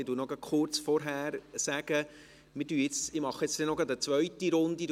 Ich sage noch kurz vorher, dass ich eine zweite Runde machen werde.